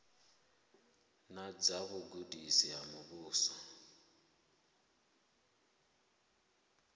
na dza vhugudisi ha muvhuso